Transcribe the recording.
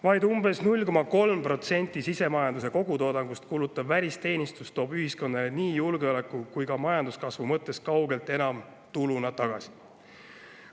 Vaid umbes 0,3% sisemajanduse kogutoodangust kulutav välisteenistus toob ühiskonnale nii julgeoleku kui ka majanduskasvu mõttes kaugelt enam tuluna tagasi.